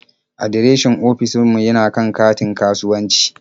Adireshin ofishin mu yana kan katin kasuwanci.